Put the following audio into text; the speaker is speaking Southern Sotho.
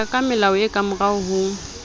hoya kamelao e kamorao no